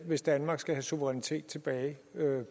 hvis danmark skal have suverænitet tilbage